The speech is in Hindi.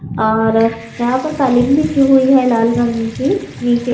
और यहाँ पर काले मिर्च भी है लाल रंग के नीचे --